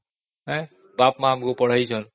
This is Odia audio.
ବାପା ମା ଆମକୁ ପଢ଼ାଇଛନ୍ତି